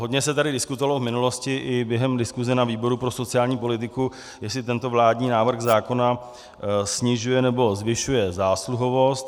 Hodně se tady diskutovalo v minulosti i během diskuse na výboru pro sociální politiku, jestli tento vládní návrh zákona snižuje nebo zvyšuje zásluhovost.